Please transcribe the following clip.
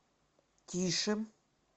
тише